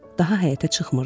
Daha həyətə çıxmırdı.